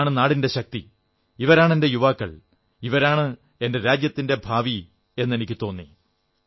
ഇതാണ് നാടിന്റെ ശക്തി ഇവരാണ് എന്റെ യുവാക്കൾ ഇവരാണ് എന്റെ രാജ്യത്തിന്റെ ഭാവി എന്നെനിക്കു തോന്നി